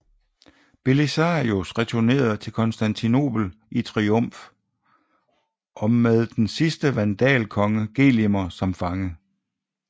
Belisarius returnerede til Konstantinopel i triumf og med den sidste vandalkonge Gelimer som fange